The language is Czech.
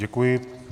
Děkuji.